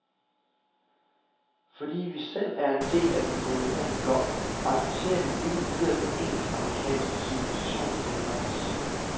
Fordi vi selv er en del af den dominerende blok, accepterer vi uden videre den engelsk-amerikanske civilisations dominans.